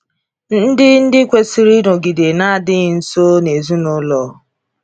Ndị di kwesịrị ịnọgide na-adịghị nso n’ezinụlọ.